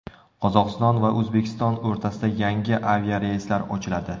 Qozog‘iston va O‘zbekiston o‘rtasida yangi aviareyslar ochiladi.